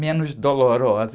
Menos dolorosa.